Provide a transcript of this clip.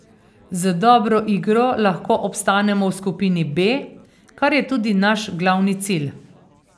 Z dobro igro lahko obstanemo v skupini B, kar je tudi naš glavni cilj.